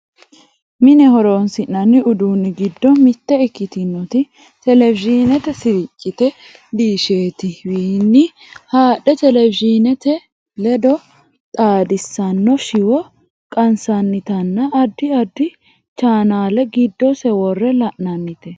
mine horonsi'nanni uduunni giddo mitte ikkitinoti televizhiinete siriccite diishete wiinni haadhe televizhineete ledo xaadissanno shiwo qansannitinna addi addi chanaale giddose worre la'nannite